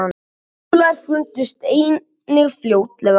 köngulær fundust einnig fljótlega